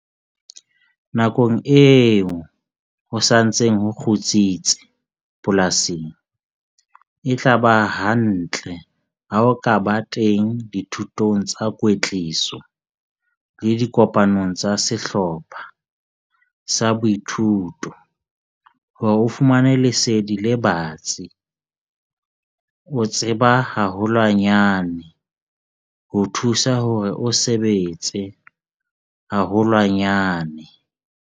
Nakong eo ho sa ntseng ho kgutsitse polasing, e tla ba hantle ha o ka ba teng dithutong tsa kwetliso le dikopanong tsa sehlopha sa boithuto hore o fumane lesedi le batsi - ho tseba haholwanyane ho thusa hore o sebetse haholwanyane!